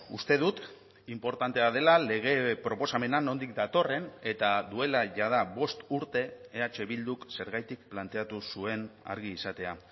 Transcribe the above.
uste dut inportantea dela lege proposamena nondik datorren eta duela jada bost urte eh bilduk zergatik planteatu zuen argi izatea